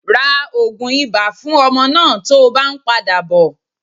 Ra ogun ibà fún ọmọ náà tó bá ń padà bò.